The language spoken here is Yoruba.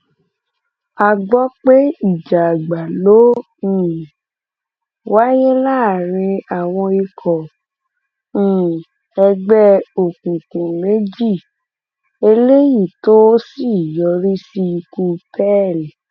a gbọ pé ìjà àgbà ló um wáyé láàrin àwọn ikọ um ẹgbẹ òkùnkùn méjì eléyìí tó sì yọrí sí ikú pearl